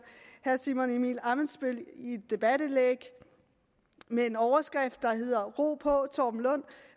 herre simon emil ammitzbøll et debatindlæg med en overskrift der hedder ro på torben lund